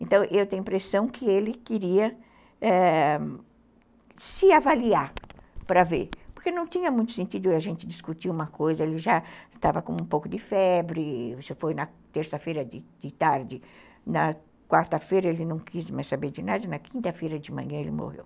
Então, eu tenho a impressão que ele queria se avaliar para ver, porque não tinha muito sentido a gente discutir uma coisa, ele já estava com um pouco de febre, isso foi na terça-feira de tarde, na quarta-feira ele não quis mais saber de nada, na quinta-feira de manhã ele morreu.